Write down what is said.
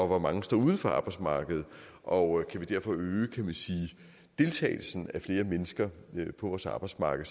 hvor mange står uden for arbejdsmarkedet og kan vi derfor øge deltagelsen af flere mennesker på vores arbejdsmarked